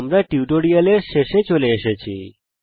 আমরা টিউটোরিয়ালের শেষে চলে এসেছি